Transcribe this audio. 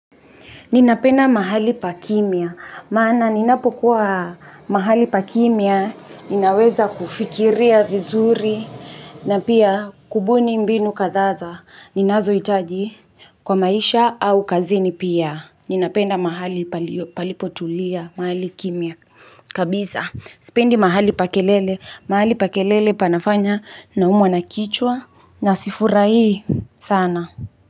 Ninapenda mahali pa kimya, maana ninapokuwa mahali pa kimya, ninaweza kufikiria vizuri, na pia kubuni mbinu kazaa, ninazo hitaji. Kwa maisha au kazini pia, ninapenda mahali palipotulia, mahali kimya kabisa, spendi mahali pa kelele, mahali pa kelele panafanya naumwa na kichwa, na sifurahi sana.